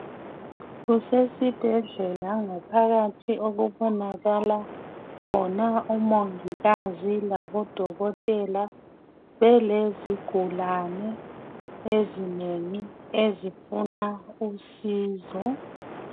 Kusesibhedlela ngaphakathi okubonakala khona umongikazi labodokotela belezigulane ezinengi ezifuna usizo.